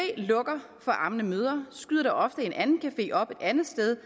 lukker for ammende mødre skyder der ofte en anden café op et andet sted